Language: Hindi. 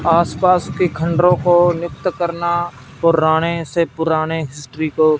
आसपास के खंडरों को नित्त करना पुराने से पुराने हिस्ट्री को--